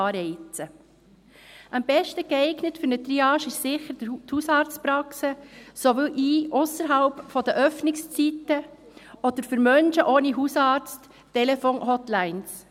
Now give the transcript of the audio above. Am besten geeignet für eine Triage sind sicher die Hausarztpraxen sowie, ausserhalb der Öffnungszeiten oder für Menschen ohne Hausarzt, Telefon-Hotlines.